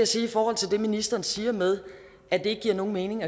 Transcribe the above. sige i forhold til det ministeren siger med at det ikke giver nogen mening